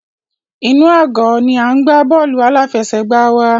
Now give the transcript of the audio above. Inú àgọ́ ni à ń gbá bọ́ọ̀lù aláfẹsẹ̀gbá wa.